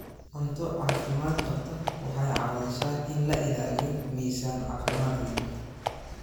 Cunto caafimaad qabta waxay caawisaa in la ilaaliyo miisaan caafimaad leh.